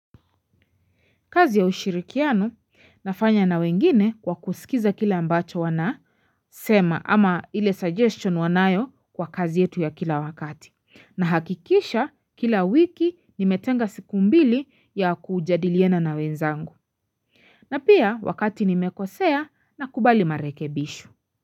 Kazi ya ushirikiano nafanya na wengine kwa kusikiza kile ambacho wanasema ama ile suggestion wanayo kwa kazi yetu ya kila wakati. Nahakikisha kila wiki nimetenga siku mbili ya kujadiliana na wenzangu. Na pia wakati nimekosea nakubali marekebisho.